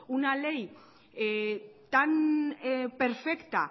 una ley tan perfecta